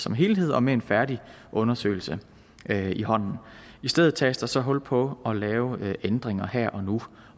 en helhed og med en færdig undersøgelse i hånden i stedet tages der så hul på at lave ændringer her og nu